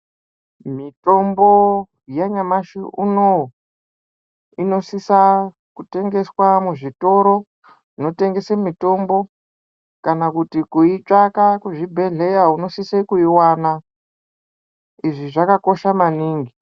Mitombo yanyamashi unou inosisa kutengeswa muzvitoro zvinotengese mitombo kana kuti kuitsvaka kuzvibhedhleya unosise kuiwana izvi zvakakosha maningi .